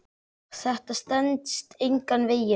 Þetta stenst engan veginn.